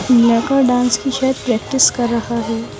Mega dance की शायद practice कर रहा है।